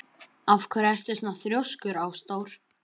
Af hverju ertu svona þrjóskur, Ásdór?